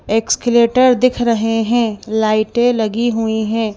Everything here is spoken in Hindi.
एक्सकलेटर दिख रहे हैं लाइटें लगी हुई हैं।